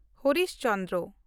Harish Chandra